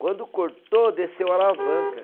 Quando cortou, desceu a alavanca.